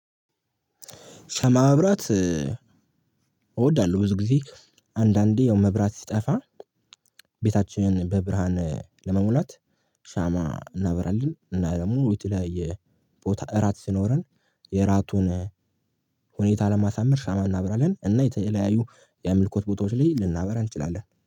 ሻማ ማብራት እወዳለሁ ብዙ ጊዜ አንዳንዴ ያው መብራት ሲጠፋ ቤታችንን በብርሃን ለመሙላት ሻማ እናበራለን። እና ደግሞ ውጪ ላይ ቦታ እራት ሲኖረን የእራቱን ሁኔታ ለማሳመር ሻማ እናበራለን። እና የተለያዩ የአምልኮት ቦታዎች ላይ ልናበራ እንችላለን